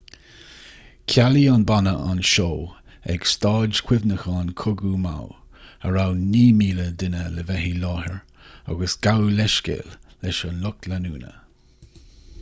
chealaigh an banna an seó ag staid chuimhneacháin cogaidh maui a raibh 9,000 duine le bheith i láthair aige agus gabhadh leithscéal leis an lucht leanúna